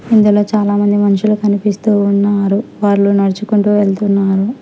ఇందులో చాలామంది మనుషులు కనిపిస్తూ ఉన్నారు వాళ్ళు నడుచుకుంటూ వెళ్తున్నారు.